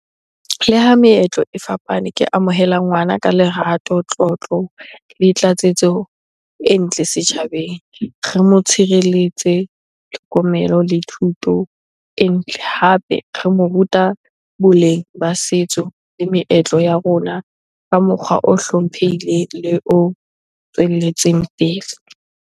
Le ha meetlo e fapane, ke amohela ngwana ka lerato, tlotlo le tlatsetso e ntle setjhabeng. Re mo tshireletse, tlhokomelo le thuto e ntle. Hape re mo ruta boleng ba setso le meetlo ya rona ka mokgwa o hlomphehileng le o tswelletseng pele.